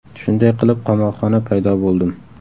Shunday qilib qamoqxona paydo bo‘ldim.